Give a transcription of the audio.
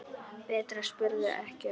Bretar spurðu ekki um aldur.